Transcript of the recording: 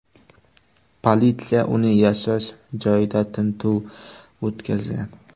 Politsiya uning yashash joyida tintuv o‘tkazgan.